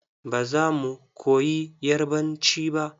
Ba za mu koyi yarbanci ba.